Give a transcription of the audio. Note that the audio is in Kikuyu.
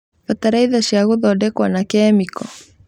Bataraitha cia gũthondekwo na kĩmĩko